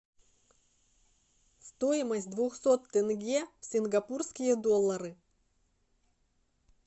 стоимость двухсот тенге в сингапурские доллары